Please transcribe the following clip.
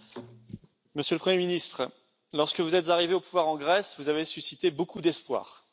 Monsieur le Président, Monsieur le Premier ministre, lorsque vous êtes arrivé au pouvoir en Grèce, vous avez suscité beaucoup d'espoir